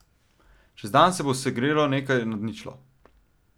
Čez dan se bo segrelo nekaj nad ničlo.